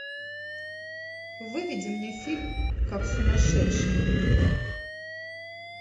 выведи мне фильм как сумасшедший